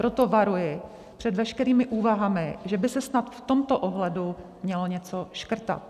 Proto varuji před veškerými úvahami, že by se snad v tomto ohledu mělo něco škrtat.